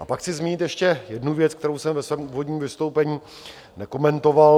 A pak chci zmínit ještě jednu věc, kterou jsem ve svém úvodním vystoupení nekomentoval.